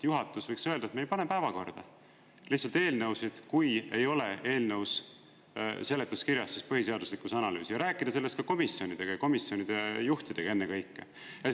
Juhatus võiks öelda, et me ei pane päevakorda lihtsalt eelnõusid, kui ei ole eelnõu seletuskirjas põhiseaduslikkuse analüüsi, ja rääkida sellest ka komisjonidega, komisjonide juhtidega ennekõike.